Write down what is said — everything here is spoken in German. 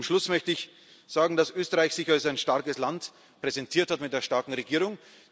dazu! Zum Schluss möchte ich sagen, dass Österreich sich als ein starkes Land präsentiert hat mit einer starken Regierung.